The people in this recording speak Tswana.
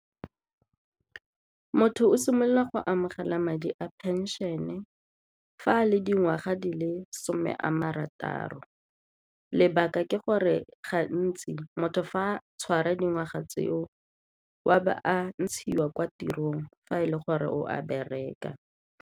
Motho o simolola go amogela madi a pension-e fa le dingwaga di le some a marataro, lebaka ke gore gantsi motho fa a tshwara dingwaga tseo o a ba a ntshiwa kwa tirong fa e le gore o a bereka.